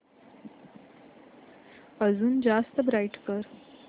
अजून जास्त ब्राईट कर